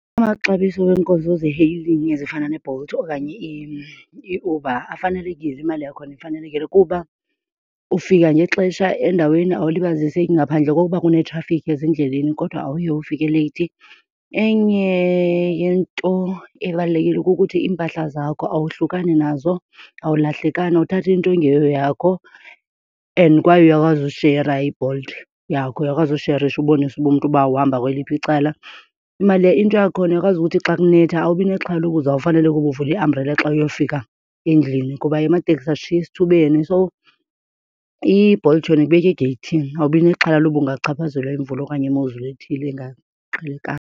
Amaxabiso weenkonzo ze-hailing ezifana neBolt okanye iUber afanelekile, imali yakhona ifanelekile kuba ufika ngexesha endaweni awulibaziseki ngaphandle kokuba kunetrafikhi ezindleleni kodwa awuye ufike leyithi. Enye yento ebalulekile kukuthi iimpahla zakho awuhlukani nazo, awulahlekani awuthathi into engeyoyakho. And kwaye uyakwazi ushera iBolt yakho, uyakwazi usherisha ubonise uba umntu uba uhamba kweliphi icala. Imali , into yakhona uyakwazi ukuthi xa kunetha awubi nexhala loba uzawufanela ukuba uvule iambrela xa uyofika endlini kuba amateksi ashiya esithubeni. So iBolt yona ikubeka egeyithini, awubi nexhala loba ungachaphazelwa yimvula okanye imozulu ethile engaqhelekanga.